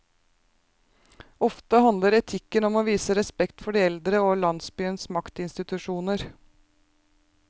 Ofte handler etiketten om å vise respekt for de eldre og landsbyens maktinstitusjoner.